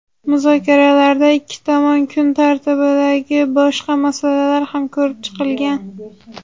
Muzokaralarda ikki tomon kun tartibidagi boshqa masalalar ham ko‘rib chiqilgan.